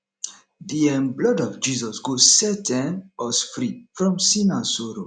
the um blood of jesus go set um us free from sin and sorrow